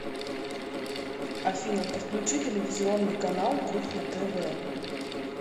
афина подключи телевизионный канал кухня тв